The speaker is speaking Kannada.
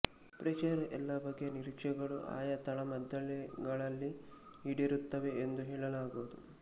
ಪ್ರೇಕ್ಷಕರ ಎಲ್ಲ ಬಗೆಯ ನಿರೀಕ್ಷೆಗಳು ಆಯಾ ತಾಳಮದ್ದಳೆಗಳಲ್ಲಿ ಈಡೇರುತ್ತವೆ ಎಂದು ಹೇಳಲಾಗದು